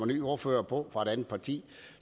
ny ordfører på fra et andet parti